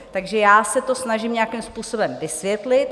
Takže já se to snažím nějakým způsobem vysvětlit.